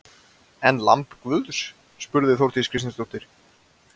En lamb guðs? spurði Þórdís Kristjánsdóttir.